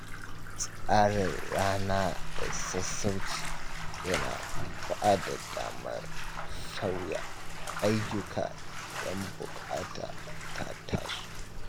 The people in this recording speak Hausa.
Tsara rana da sassauci yana ba da damar sauya ayyuka idan buƙata ta taso.